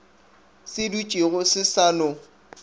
se dutšego se sa no